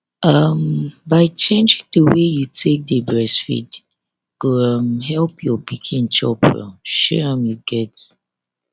um by changing the way you take dey breastfeed um go help your pikin chop well shey um you get